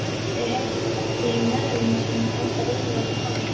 Þeir heyrðu köllin í mæðrum sínum enduróma um allt.